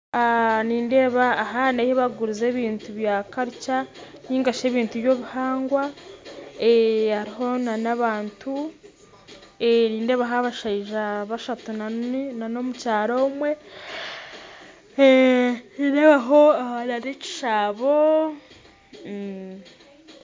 Nindeeba aha n'ahu barikuguriza ebintu by'obuhangwa, nindeeba hariho abashaija bashatu n'omukazi omwe kandi nindeebaho n'ekishaabo